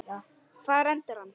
Hvar endar hann?